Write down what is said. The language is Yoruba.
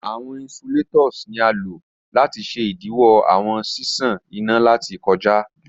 Awọn insulators ni a lo lati ṣe idiwọ awọn ṣiṣan ina lati kọja.